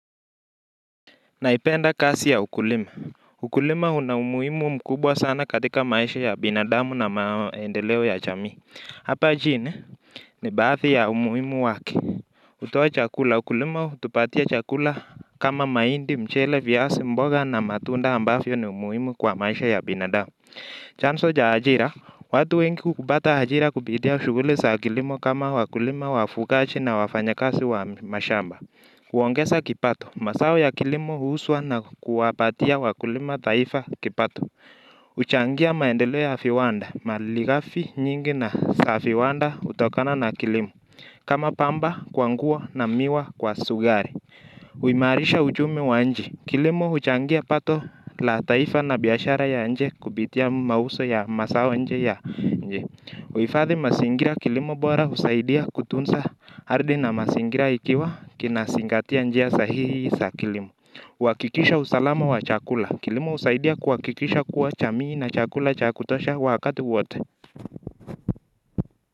Naipenda kasi ya ukulima. Ukulima una umuhimu mkubwa sana katika maisha ya binadamu na maendeleo ya jamii. Hapa jine? Ni baadhi ya umuhimu wake. Kutoa chakula. Ukulima hutupatia chakula kama mahindi, mchele, viazi mboga na matunda ambavyo ni muhimu kwa maisha ya binadamu. Chanzo cha ajira. Watu wengi hupata ajira kupitia shughuli za kilimo kama wakulima wafugaji na wafanyakazi wa mashamba. Huongeza kipato, mazao ya kilimo huzwa na kuwapatia wakulima taifa kipato huchangia maendeleo ya viwanda malighafi nyingi za viwanda hutokana na kilimo. Kama pamba kwa nguo na miwa kwa sukari. Huimarisha uchumi wa nchi, kilimo huchangia pato la taifa na biashara ya nje kupitia mauzo ya mazao nje ya nchi huifadhi mazingira kilimo bora husaidia kutunza ardhi na mazingira ikiwa kinazingatia njia sahihi za kilimo. Huakikisha usalama wa chakula. Kilimo husaidia kuhakikisha kuwa jamii ina chakula cha kutosha wakati wote.